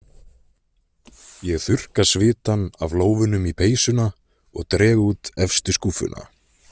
Ég þurrka svitann af lófunum í peysuna og dreg út efstu skúffuna.